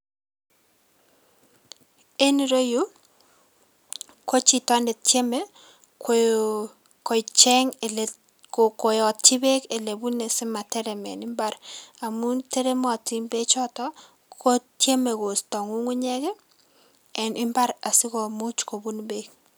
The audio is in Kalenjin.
En ireyu ko chito netieme ko kocheng' ile ko koyotyi beek ilebune simaterem en mbar amun teremotin bechoton kotieme kosto ng'ung'unyek ii en mbar asikomuch kobun beek.